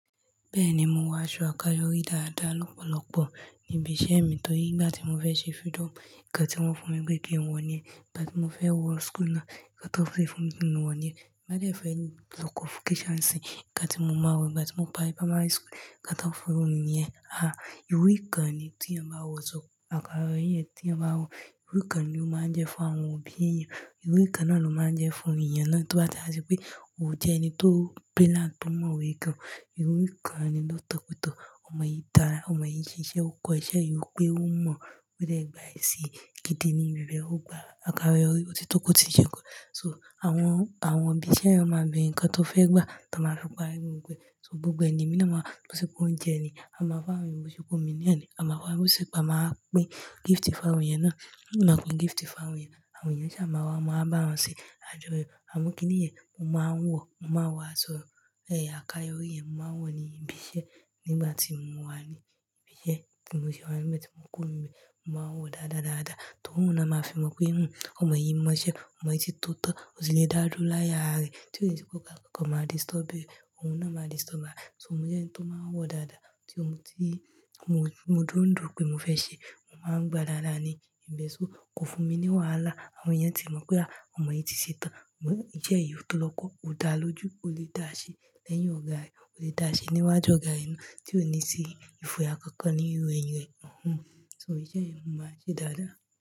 Bẹ́ẹ̀ni, mo wọ aṣọ àkọ́yori dáadáa lọ́pọ̀lọpọ̀ níbi iṣẹ́ mi, torí nìgbà tí mo fẹ́ ṣe freedom, nkán tí wọ́n fún mi pé kìí ń wọ̀ ní yen, ìgbà tí mo fẹ́ wọ school náà, nkán tí wọ́n fún mi pé ń ki n wọ̀ ní yen. Ti n bá dé fẹ́ lọ convocation nisínyii, nkán tí mo máa wọ, ìgbà tí mo bá parí primary school, nkán tí wọ́n fún mi wọ̀ ní yen. Ah, ìrú nkán ni tí èèyàn bá wọ̀, àkọ́yọ́ri yẹn tí èèyàn bá wọ̀, ìwúrí ni ó máa ń jẹ́ fún àwọn òbí èèyàn. Ìrú nkán náà ló máa ń jẹ́ fún èèyàn náà, tó bá ti e sí pé o jẹ́ ẹni tó brilliant, tó mọ̀ we gan. Ìwúrí kán ni lọ́oto, ọmọ yìí dára, ọmọ yìí ń ṣiṣẹ́, ó kọ iṣẹ́ yìí, ó pé ó mọ̀, ó dé gba èsì, gidì ní ìbẹ̀rẹ̀ ó gba àkàyori, ó ti tóko ti ṣe kọ́. So àwọn, àwọn òbí iṣẹ́ náà máa bẹ̀rẹ̀ ǹkan tó fẹ́ gbà, tí wọ́n máa fi parí gbogbo e, so gbogbo ẹ̀ ni mi náà máa lọ ṣo pé oúnjẹ ni, a máa bá wa mu bó ṣe pé omi noni, a máa bá wa mu ṣùkú, a máa pín gift fún àwọn èèyàn náà. Máa kan gift fún àwọn èèyàn, àwọn èèyàn sì máa wá, máa bá wọn ṣé àjọyọ̀. Àmọ́ kíni ìyẹn? Mo máa ń wọ̀, mo máa wọ̀ aṣọ ẹ̀yà àkayori yẹn, mo máa ń wọ̀ ní ibi iṣẹ́ nígbà tí mo wà ní ibi iṣẹ́, tí mo ṣe wá n be tí mo kúrò ńi be mo máa ń wọ̀ dáadáa dáadáa. Tó òun náà máa fi mọ̀ pé, hmmm ọmọ yìí mọ iṣẹ́, ọmọ yìí ti tọ́tọ́, ó ti lè dárú láye ara rẹ̀, tí ó ní sí pé ọ̀gá kankan máa disturb ẹ̀, òun náà máa disturb e. So mo jẹ́ ẹni tó máa ń wọ̀ dáadáa, tí mo, ti mo dúró ń dùro pé mo fẹ́ ṣe, mo máa ń gba dáadáa ni ìbesu o, kò fún mi ní wàhálà. Àwọn èèyàn tì máa mọ̀ pé, àá ọmọ yìí ti ṣe tán, ìṣe yìí ó tó lọ́kọ, ó dáa lójú, ó lè dáa ṣe lẹ́yìn ọ̀gá rẹ̀, ó lè dáa ṣe níwájú ọ̀gá rẹ̀ náà, tí ó ní si, ìfòyà kankan nínú irú eyin rẹ̀. So iṣẹ́ ni mo maa ń ṣe dáadáa.